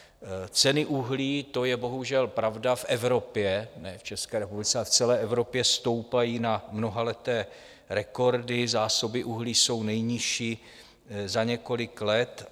Ceny uhlí - to je bohužel pravda, v Evropě, ne v České republice, ale v celé Evropě stoupají na mnohaleté rekordy, zásoby uhlí jsou nejnižší za několik let.